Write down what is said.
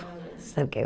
Sabe o que é?